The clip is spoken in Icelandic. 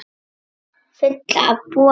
Fulla af boðum.